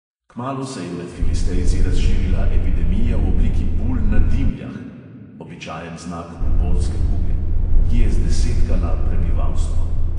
Kmalu se je med filistejci razširila epidemija v obliki bul na dimljah (običajen znak bubonske kuge), ki je zdesetkala prebivalstvo.